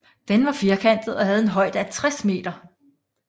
Det var firkantet og havde en højde af 60 m